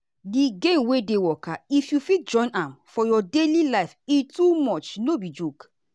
the gain wey dey waka if you fit join am for your daily life e too much no be joke.